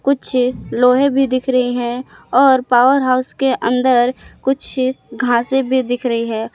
कुछ लोहे भी दिख रही हैं और पावर हाउस के अंदर कुछ घासे भी दिख रही है।